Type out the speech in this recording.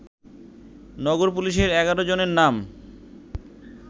নগর পুলিশের ১১ জনের নাম